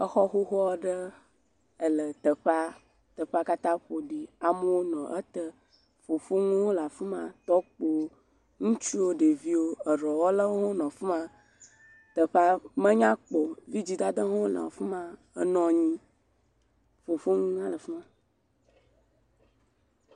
Exɔ xoxo aɖe ele teƒea teƒea katã ƒoɖi amewo nɔ ete fofoŋuwo hã le afi ma tɔkpowo ŋutsuwo ɖeviwo, eɖɔwɔlawo hã wonɔ afi ma, teƒea menya kpɔ o, vidzidadawo hã wole afi ma enɔ anyi, fofoŋuwo hã le afi ma.